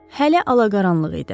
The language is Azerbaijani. Hələ alaqaranlıq idi.